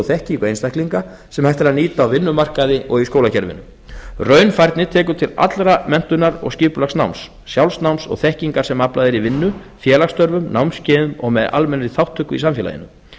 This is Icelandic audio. og þekkingu einstaklinga sem hægt er að nýta á vinnumarkaði og í skólakerfinu raunfærni tekur til allrar menntunar og skipulags náms sjálfsnáms og þekkingar sem aflað er í vinnu félagsstörfum námskeiðum og með almennri þátttöku í samfélaginu